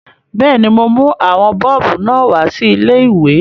Bẹ́ẹ̀ni, mo mú àwọn bọ́ọ̀bù náà wá sí ilé-ìwé